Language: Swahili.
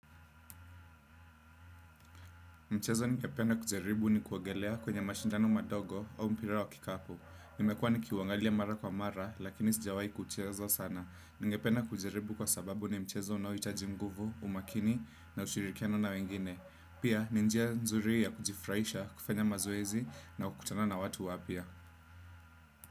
Mchezo ningependa kujaribu ni kuogelea kwenye mashindano madogo au mpira wa kikapu. Nimekuwa nikiuangalia mara kwa mara, lakini sijawai kucheza sana. Ningependa kujaribu kwa sababu ni mchezo unaohitaji nguvu, umakini na ushirikiano na wengine. Pia, ni njia nzuri ya kujifurahisha, kufanya mazoezi na kukutana na watu wapya.